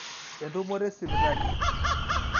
entumoto esipitali